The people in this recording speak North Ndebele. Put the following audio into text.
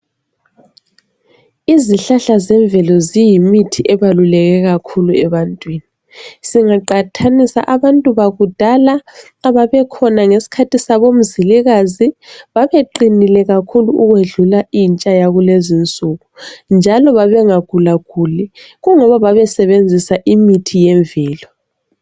Izihlahla zemvelo ziyimithi ebaluleke kakhulu ebantwini. Singaqathanisa abantu bakudala ababekhona ngesikhathi sabo Mzilikazi, babeqinile kakhulu ukwedlula intsha yakulezinsuku, njalo babengagulaguli, kungoba babesebenzisa imithi yemvelo.